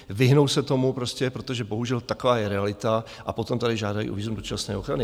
Vyhnou se tomu prostě, protože bohužel taková je realita, a potom tady žádají o vízum dočasné ochrany.